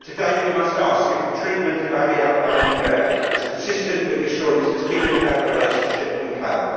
But today we must ask if the treatment of Ali al Nimr is consistent with the assurances given about the relationship we have.